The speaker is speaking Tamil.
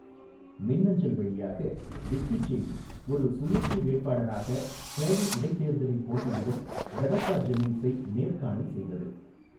மின்னஞ்சல் வழியாக, விக்கிசெய்தி ஒரு சுயேட்சை வேட்பாளராக டேலி இடைத்தேர்தலில் போட்டியிடும் ரெபேக்கா ஜென்னிங்ஸை நேர்காணல் செய்தது.